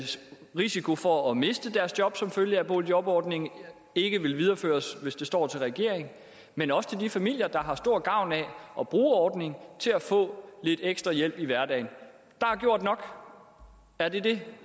risiko for at miste deres job som følge af at boligjobordningen ikke vil videreføres hvis det står til regeringen men også til de familier der har stor gavn af at bruge ordningen til at få lidt ekstra hjælp i hverdagen der er gjort nok er det det